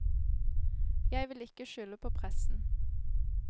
Jeg vil ikke skylde på pressen.